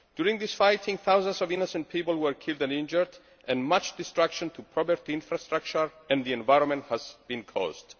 During this fighting, thousands of innocent people were killed and injured and much destruction to property, infrastructure and the environment has been caused.